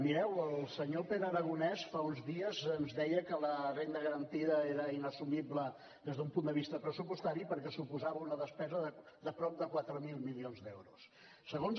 mireu el senyor pere aragonès fa uns dies ens deia que la renda garantida era inassumible des d’un punt de vista pressupostari perquè suposava una despesa de prop de quatre mil milions d’euros